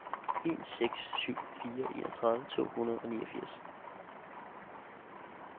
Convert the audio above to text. en seks syv fire enogtredive to hundrede og niogfirs